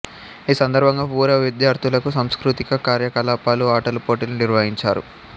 ఈ సందర్భంగా పూర్వ విద్యార్థులకు సాంస్కృతిక కార్య కలాపాలు ఆటల పోటీలు నిర్వహించారు